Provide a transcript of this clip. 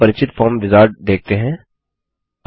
अब हम परिचित फॉर्म विजार्ड देखते हैं